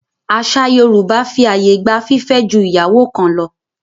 Àṣà Yorùbá fi àyè gba fífẹ́ ju ìyàwó kan lọ.